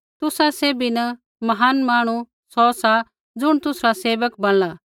तुसा सैभी न महान मांहणु सौ सा ज़ुण तुसरा सेवक बणला